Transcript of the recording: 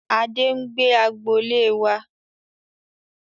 Adé ń gbé agboolé wá.